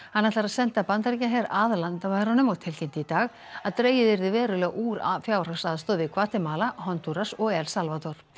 hann ætlar að senda Bandaríkjaher að landamærunum og tilkynnti í dag að dregið yrði verulega úr fjárhagsaðstoð við Gvatemala Hondúras og El Salvador